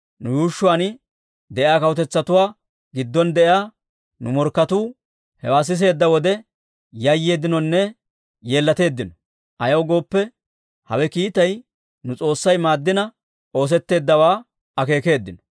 Nu yuushshuwaan de'iyaa kawutetsatuwaa giddon de'iyaa nu morkketuu hewaa siseedda wode yayyeeddinonne yeellateeddino. Ayaw gooppe, hawe kiitay nu S'oossay maaddina oosetteeddawaa akeekeeddino.